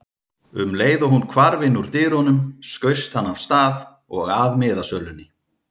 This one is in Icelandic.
Um leið og hún hvarf innúr dyrunum skaust hann af stað og að miðasölunni.